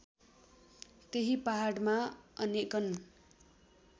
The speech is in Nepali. त्यही पहाडमा अनेकन